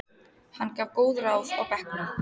Hann gaf góð ráð á bekknum.